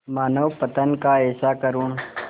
मानवपतन का ऐसा करुण